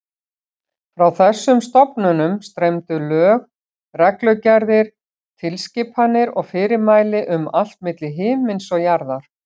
Frá þessum stofnunum streymdu lög, reglugerðir, tilskipanir og fyrirmæli um allt milli himins og jarðar.